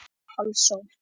Osló